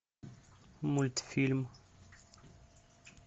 мультфильм